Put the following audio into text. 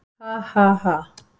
Ha, ha, ha.